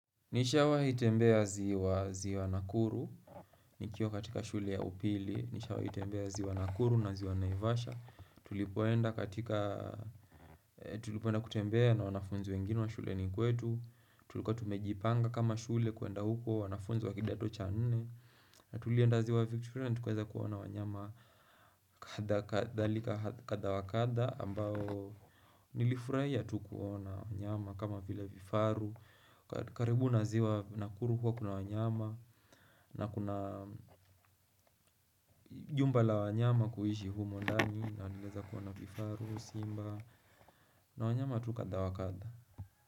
Nishawahi tembea ziwa, ziwa Nakuru, nikiwa katika shule ya upili, nishawai tembea ziwa nakuru na ziwa naivasha. Tulipoenda katika, tulipoenda kutembea na wanafunzi wengine wa shuleni kwetu Tulikuwa tumejipanga kama shule kuenda huko, wanafunzi wa kidato cha nne na tulienda ziwa Victoria ni tukaweza kuona wanyama kadha kadha wa kadha ambao nilifurahia tu kuona wanyama kama vile vifaru karibu na ziwa Nakuru huwa kuna wanyama na kuna jumba la wanyama kuishi humo ndani na nilieza kuona vifaru, simba na wanyama tu kadha wa kadha.